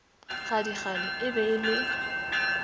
gadikgale e be e le